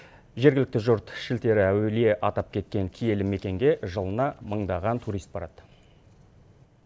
жергілікті жұрт шілтері әулие атап кеткен киелі мекенге жылына мыңдаған турист барады